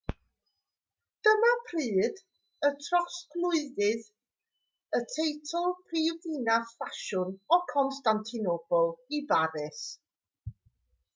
dyma pryd y trosglwyddwyd y teitl prifddinas ffasiwn o constantinople i baris